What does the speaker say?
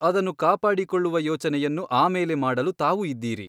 ಅದನ್ನು ಕಾಪಾಡಿಕೊಳ್ಳುವ ಯೋಚನೆಯನ್ನು ಆಮೇಲೆ ಮಾಡಲು ತಾವು ಇದ್ದೀರಿ.